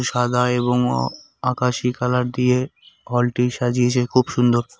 সাদা এবং ও আকাশী কালার দিয়ে হলটি সাজিয়েছে খুব সুন্দর।